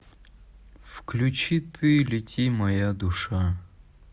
включи ты лети моя душа